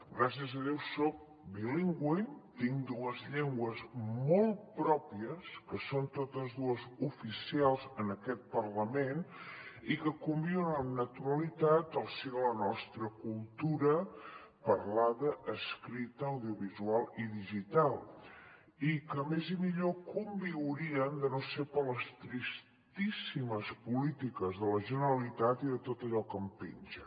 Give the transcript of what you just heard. gràcies a déu soc bilingüe tinc dues llengües molt pròpies que són totes dues oficials en aquest parlament i que conviuen amb naturalitat al si de la nostra cultura parlada escrita audiovisual i digital i que més i millor conviurien de no ser per les tristíssimes polítiques de la generalitat i de tot allò que en penja